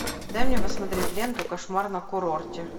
дай мне посмотреть ленту кошмар на курорте